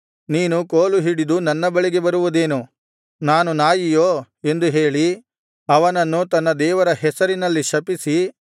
ನೀನು ಕೋಲುಹಿಡಿದು ನನ್ನ ಬಳಿಗೆ ಬರುವುದೇನು ನಾನು ನಾಯಿಯೋ ಎಂದು ಹೇಳಿ ಅವನನ್ನು ತನ್ನ ದೇವರ ಹೆಸರಿನಲ್ಲಿ ಶಪಿಸಿ